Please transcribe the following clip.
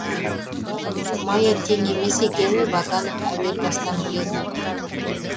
майя тең емес екенін ваганов әуел бастан біледі